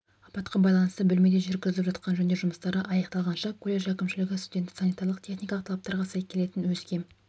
апатқа байланысты бөлмеде жүргізіліп жатқан жөндеу жұмыстары аяқталғанша колледж әкімшілігі студентті санитарлық техникалық талаптарға сай келетін өзге